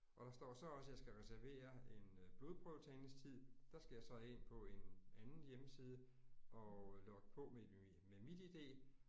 Og der står så også jeg skal reservere en blodprøvetagningstid. Der skal jeg så ind på en anden hjemmeside og logge på med med MitID